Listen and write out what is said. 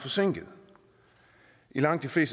som langt vil